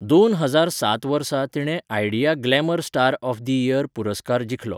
दोन हजार सात वर्सा तिणें Idea glamour star of the year पुरस्कार जिखलो.